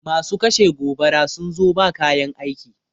Masu kashe gobara sun zo ba kayan aiki